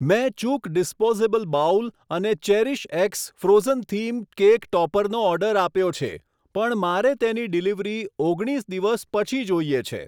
મેં ચૂક disposable bowl અને ચેરીશએક્સ ફ્રોઝનથીમ કેક ટોપરનો ઓર્ડર આપ્યો છે પણ મારે તેની ડિલિવરી ઓગણીસ દિવસ પછી જોઈએ છે.